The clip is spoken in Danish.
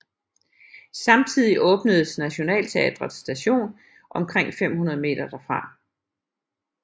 Samtidig åbnedes Nationaltheatret Station omkring 500 meter derfra